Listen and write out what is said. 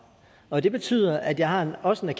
og det betyder at jeg også har